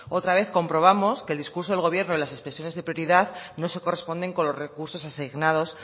otra vez comprobamos que el discurso del gobierno y las expresiones de prioridad no se corresponden con los recursos asignados